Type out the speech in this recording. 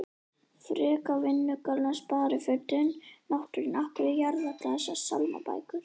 frekar vinnugallann sparifötin náttfötin af hverju jarða allar þessar sálmabækur?